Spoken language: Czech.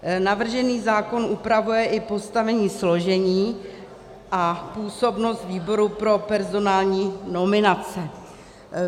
Navržený zákon upravuje i postavení, složení a působnost výboru pro personální nominace.